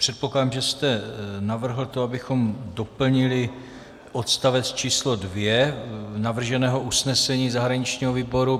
Předpokládám, že jste navrhl to, abychom doplnili odstavec číslo 2 navrženého usnesení zahraničního výboru.